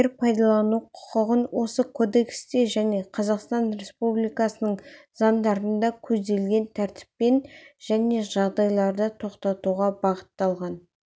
жер пайдалану құқығын осы кодексте және қазақстан республикасының заңдарында көзделген тәртіппен және жағдайларда тоқтатуға бағытталған